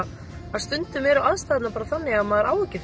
að stundum eru aðstæðurnar þannig að maður á ekki